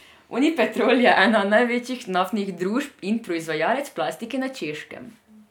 Unipetrol je ena največjih naftnih družb in proizvajalec plastike na Češkem.